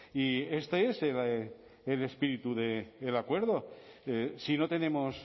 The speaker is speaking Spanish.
y este es el espíritu del acuerdo si no tenemos